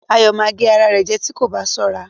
Ayọ̀ ma gé ara rẹ̀ jẹ́ tí kò bá sọra